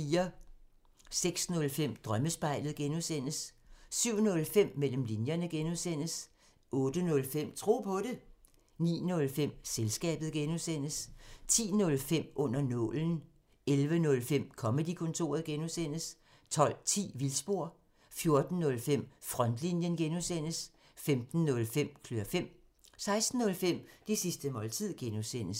06:05: Drømmespejlet (G) 07:05: Mellem linjerne (G) 08:05: Tro på det 09:05: Selskabet (G) 10:05: Under nålen 11:05: Comedy-kontoret (G) 12:10: Vildspor 14:05: Frontlinjen (G) 15:05: Klør fem 16:05: Det sidste måltid (G)